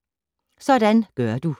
Sådan gør du: